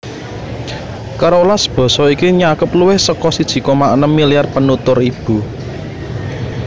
Kerolas basa iki nyakup luwih saka siji koma enem milyar penutur ibu